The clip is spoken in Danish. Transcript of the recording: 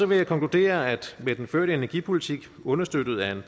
vil jeg konkludere at med den førte energipolitik understøttet af